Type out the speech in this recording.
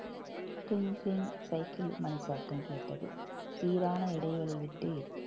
சிங் சிங் சைக்கிள் மணி சத்தம் கேட்டது சீரான இடைவெளி விட்டு